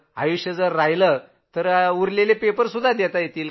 आयुष्य राहिलं तर सगळे पेपर देता येतील